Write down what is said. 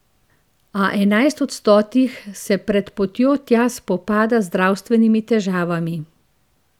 A enajst od stotih se pred potjo tja spopada z zdravstvenimi težavami.